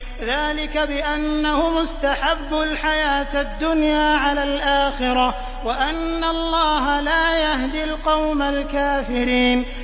ذَٰلِكَ بِأَنَّهُمُ اسْتَحَبُّوا الْحَيَاةَ الدُّنْيَا عَلَى الْآخِرَةِ وَأَنَّ اللَّهَ لَا يَهْدِي الْقَوْمَ الْكَافِرِينَ